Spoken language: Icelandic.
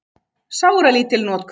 Sáralítil notkun